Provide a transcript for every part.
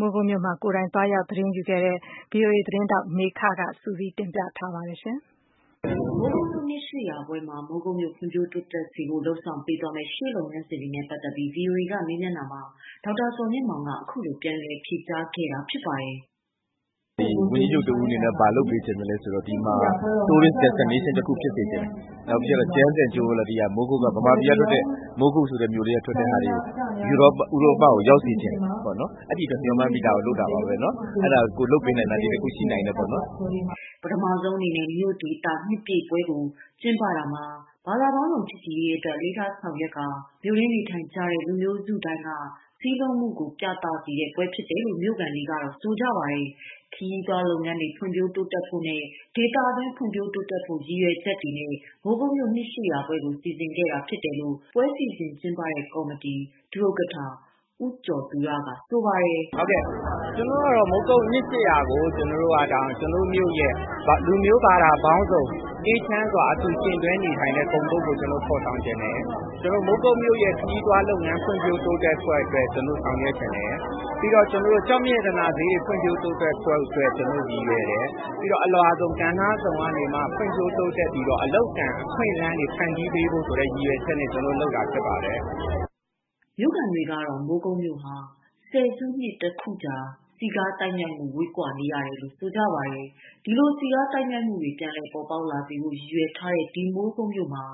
မိုးကုတ်မြို့မှာ ကိုယ်တိုင် သတင်းသွားယူနေတဲ့ မမေခက သတင်းပေးပို့ထားပါတယ်။ မိုးကုတ်မြို့ နှစ် ၈၀၀ပြည့်ပွဲမှာ မိုးကုတ်မြို့ဖွံ့ဖြိုးတိုးတက်စေဖို့ လုပ်ဆောင်ပေးသွားမယ့် ရှေ့လုပ်ငန်းစဉ်နဲ့ပတ်သတ်ပြီး ဗွီအိုအေက မေးမြန်းတာမှာ ဒေါက်တာ ဇော် မြင့်မောင်က အခုလို ပြန်လည် ဖြေကြားခဲ့ပါတယ်။ "ဝန်ကြီးချုပ်တဦးအနေနဲ့ ဘာလုပ်ပေးစေချင်သလဲဆိုတော့ Tourist Destination တခု ဖြစ်ခိုင်စေချင်တယ်။ နောက်ပြီးတော့ Gems and Jewelry က မြန်မာပြည်က ထွက်တဲ့ မိုးကုတ်ဆိုတဲ့ မြို့ကလေးကထွက်တဲ့ဟာတွေကို ဥရောပကို ရောက်စေချင်တယ် အဲဒီအတွက်မျှော်မှန်းပြီး ဒါကိုလုပ်တာပါ။ လုပ်ပေးနိုင်တာ ဒါတခုရှိတာပေါ့နော်။" ပထမဆုံးအနေနဲ့ မြို့ဒေသ နှစ်ပြည့်ပွဲကို ကျင်းပတာမှာ ဘာသာပေါင်းစုံ ချစ်ကြည်ရေးအတွက် အလေးထားစီစဉ်ဆောင်ရွက်ကာ မြို့ တွင်း နေထိုင်ကြတဲ့ လူမျိုးစုတိုင်းက စည်းလုံးမှုကို ပြသစေတဲ့ ပွဲတော်ဖြစ်တယ်လို့ မြို့ခံတွေကဆိုပါတယ်။ ခရီးသွားလုပ်ငန်းတွေ ဖွင့်ဖြိုးဖို့နဲ့ ဒေသတွင်းတိုးတက်ဖို့ ရည်ရွယ် ချက်တွေနဲ့ မိုးကုတ်မြို့နှစ် ၈၀၀ပြည့်ပွဲကို စီစဉ်ကြတာဖြစ်တယ်လို့ ပွဲစီစဉ်ကျင်းပတဲ့ကော်မတီ ဒုဥက္ကဌ ဦးကျော်ဇင်သက်ကဆိုပါတယ်။ "ကျနော်ကတော့ မိုးကုတ် နှစ် ၈၀၀ ကို ကျနော်တို့မြို့ရဲ့ လူမျိုးဘာသာပေါင်းစုံ အေးချမ်းစွာအတူယှဉ်တွဲနေထိုင်တဲ့ ဂုဏ်ပုဒ်ကို ဖော်ဆောင်ချင်တယ် ကျနော်တို့ မိုးကုတ်မြို့ရဲ့ ခရီးသွားလာရေး လုပ်ငန်း ဖွံ့ဖြိုးတိုးတက်မှုအတွက်ဆောင်ရွက်ချင်တယ်။ နောက်ပြီးတော့ ကျောက်မြတ်ရတနာဈေးကွက်တွေ ဖွံ့ဖြိုးတိုးတက်ဖို့အတွက် ကျနော်တို့ ရည်ရွယ်တယ်။ ပြီးတော့ အလွှာစုံ ကဏ္ဍစုံမှာ ဖွံ့ဖြိုးတိုးတက်ပြီးတော့ အလုပ်အကိုင်အခွင့်အလမ်းတွေ ဖန်တီးပေးဖို့ဆိုတဲ့ ရည်ရွယ်ချက်နဲ့ ကျနော်တို့လုပ်တာဖြစ်ပါတယ်။” မြို့ခံတွေကတော့ ဆယ်စုနှစ်တခုကြာ စည်းကားသိုက်မြိုက်မှု ဝေးကွာနေတယ်လို့ ဆိုကြပါတယ်။ ဒီလို စည်ကားသိုက်မြိုက်မှုတွေ ပြန်လည်ပေါ်ပေါက်လာဖို့ ရည်ရွယ်ထားတဲ့ ဒီမိုးကုတ်မြို့မှာ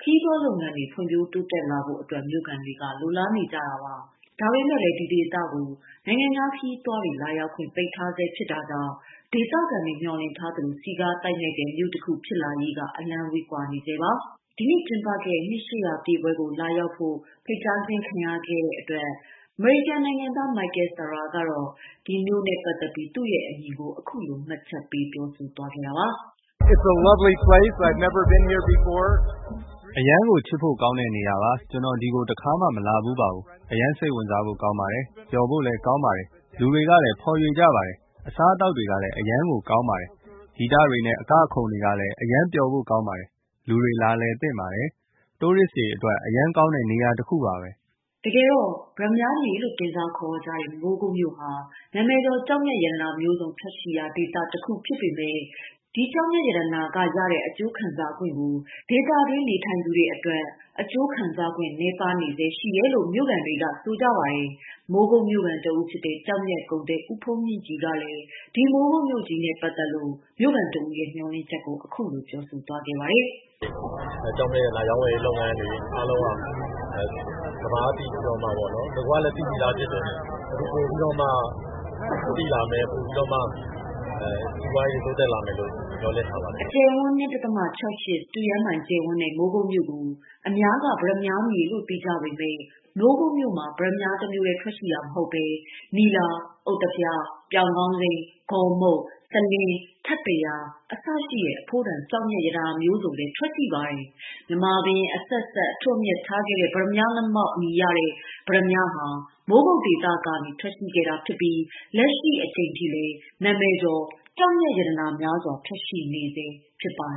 ခရီးသွားလုပ်ငန်းတွေ ဖွံ့ဖြိုးလာနိုင်ဖို့အတွက် မြို့ခံတွေကလိုလားကြပါတယ်။ ဒါပေမယ့် ဒီဒေသကို နိုင်ငံခြားခရီးသွားတွေ လာရောက်ခွင့် ပိတ်ပင်ထားဆဲ ဖြစ်တာကြောင့် ဒေသခံတွေ မျှော်လငိ့ထားသလို စည်ကားသိုက်မြိုက်တဲ့ မြို့တခု ဖြစ်လာရေး အလှမ်းကွာဝေးနေဆဲပါ။ ဒီနှစ် ၈၀၀ ပြည့်ပွဲကိုလာရောက်ခဲ့တဲ့ အမေရိကန်နိုင်ငံသား Michael Shara ကတော့ ဒီမြို့အပေါ် သူ့ရဲ့အမြင်ကို အခုလိုမှတ်ချက်ပေးပြောဆိုလိုက်ပါတယ်။ "အရမ်းကို ချစ်ဖို့ကောင်းတဲ့နေရာပါ။ ကျနော်ဒီကို တခါမှ မလာဖူးပါဘူး။ အရမ်းကို ကောင်းပါတယ် ပျော်ဖို့လည်းကောင်းပါတယ်။ လူတွေကလည်း ဖော်ရွေကြပါတယ်။ အစားအသာက်ကလည်း အရမ်းကို ကောင်းပါတယ်။ ဂီတတွေနဲ့ ကခုန်တာလည်း ပျော်ဖို့ကောင်းပါတယ် လူတွေလာလည်သင့်ပါတယ် နိုင်ငံခြားသားတွေအတွက်အရမ်းကောင်းတဲ့နေရာတခုပါပဲ။" တကယ်တော့ ပတ္တမြားမြေလို့တင်စားခေါ်ဝေါ်ကြတဲ့ မိုးကုတ်မြို့ဟာ နာမည်ကျော် ကျောက်မျက်ရတနာ မျိုးစုံထွက်ရှိရာနေရာတခုဖြစ်ပေမယ့် ဒေသတွင်းနေ ထိုင်သူတွေအတွက်ကတော့ အကျိုးခံစားခွင့်နည်းနေကြဆဲ ရှိတယ်လို့ ဆိုပါတယ်။ မိုးကုတ်မြို့ခံတဦးဖြစ်တဲ့ ကျောက်မျက်ကုန်သည် ဦးဖုန်းမြင့်ကြည်ကလည်း မိုးကုတ်မြို့ကြီးနဲ့ပတ်သတ်လို့ မြို့ခံတဦးရဲ့မေ ျှာ်လင့်ချက်ကို အခုလိုဆိုသွားပါတယ်။ “ကျောက်မြတ်ရတနာရောင်းဝယ်ရေးလုပ်ငန်းတွေအားလုံးက ကမ္ဘာကသိပြီးတော့မှပေါ့နော် နဂိုကလည်း သိပြီးသားဖြစ်တယ်။ အခုပိုပြီးတော့သိလာမယ် ပိုပြီးတော့ စီးပွားရေးတွေ တိုးတက်လာမယ်လို့ မျှော်လင့်ထားပါတယ်။” ၂.၆၈ စတုရန်းမိုင်ကျယ်ဝန်းတဲ့ မိုးကုတ်မြို့ကို အများက ပတ္တမြားမြေလို့သိကြပေမယ့် မိုးကုတ်မြို့ဟာ ပတ္တမြားတမျိုးထဲထွက်ရှိတာမဟုတ်ဘဲ နီလာ၊ ဥဿဖျား၊ ပြောင်ခေါင်းစိမ်း၊ ဂေါ်မုတ်၊ စလင်း၊ ထပ်တရာ အစရှိတဲ့ အဖိုးတန်ကျောက်မျက်ရတနာမျိုးတွေလည်းထွက်ရှိပါတယ်။ မြန်မာဘုရင်အဆက်ဆက် အထွဋ်အမြတ် ထားခဲ့တဲ့ ပတ္တမြားငမောက် အမည်ရတဲ့ ပတ္တမြားဟာ မိုးကုတ်ဒေသကထွက်ရှိတာဖြစ်ပြီး လက်ရှိအချိန်ထိ နာမည်ကျော်ကျောက်မျက် ရတနာများစွာထွက်ရှိနေဆဲဖြစ်ပါ